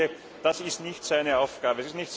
Und ich denke, das ist nicht seine Aufgabe.